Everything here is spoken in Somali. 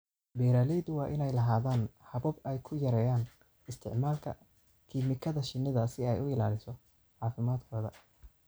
Beeralayda waa inay lahaadaan habab ay ku yareeyaan isticmaalka kiimikada shinnida si ay u ilaaliso caafimaadkooda.